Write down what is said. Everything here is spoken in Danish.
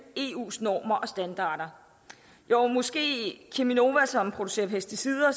eus normer og standarder jo måske er cheminova som producerer pesticider